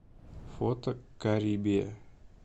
фото карибия